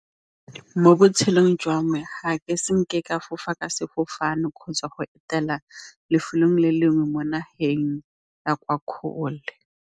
Mo botshelong jwa me ga ke senke ka fofa ka sefofane kgotsa go etela lefelong le lengwe mo nageng ya kwa kgole.